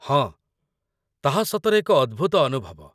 ହଁ, ତାହା ସତରେ ଏକ ଅଦ୍ଭୁତ ଅନୁଭବ